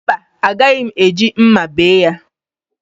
Mba, agaghị m eji mma bee ya